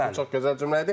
Çox gözəl cümlə idi.